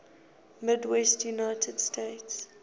midwestern united states